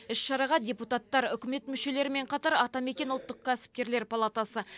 іс шараға депутаттар үкімет мүшелерімен қатар атамекен ұлттық кәсіпкерлер палатасы